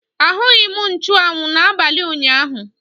Ahụghị m nchuanwu n'abalị ụnyaahụ.